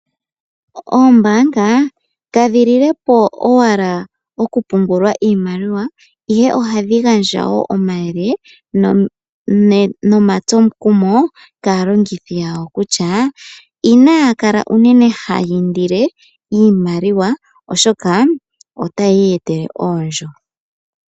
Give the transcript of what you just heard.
Oombanga kadhi lilepo owala oku pungula iimaliwa ihe ohadhi gandja wo omayele nomatsomukumo kaalongithi yawo kutya: inaya kala unene haya indile iimaliwa oshoka ota yi iyetele oondjo.